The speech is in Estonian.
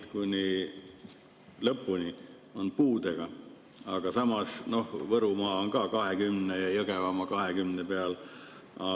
kuni lõpuni on puudega, Võrumaa on 20% ja Jõgevamaa ka 20% peal.